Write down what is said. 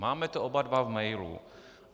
Máme to oba dva v mailu.